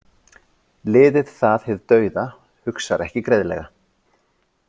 Liðið það hið dauða hugsar ekki greiðlega.